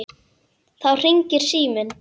Þá hringir síminn.